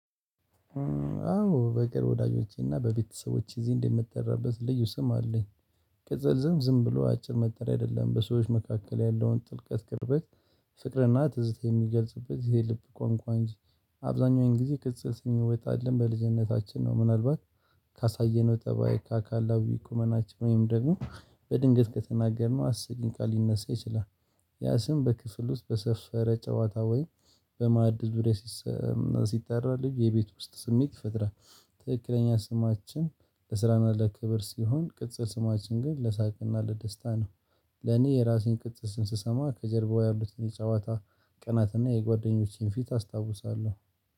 አዎ በቅርብ ወዳጆቼና በቤተሰቦቼ እዚህ እንደምትጠራበት ልዩ ስም አለኝ። ቅጽል ስም ዝም ብሎ አጭር መጠሪያ አይደለም በሰዎች መካከል ያለውን ጥልቀት ቅርበት። ፍቅርና ትዝታ የሚገልጽበት የልብ ቃንቋንጂ። አብዛኛውን ጊዜ ቅጽል ስም የሚወጣልን በልጅነታችን ነው። ምናልባት ካሳየነው ጠባይ ከአካላዊ ቁመናቸው ወይም ደግሞ በድንገት ከተናገርነው አስቂኝ ቃል ሊነሳ ይችላል። ያ ስም በክፍሉ ውስጥ በሰፈረ ጨዋታ ወይ በማዕድል ዙርያ። ሲጠራ ልዩ የቤት ውስጥ ስሜት ይፈጥራል። ትክክለኛ ስማችን ለስራና ለክብር ሲሆን ቅጽር ስማችን ግን ለሳቅና ለደስታ ነው። ለኔ የራሴን ቅጽል ስም ስሰማ ከጀርባው ያሉትን የጨዋታ ቅናትና የጓደኞቼን ፊት አስታውሳለሁ።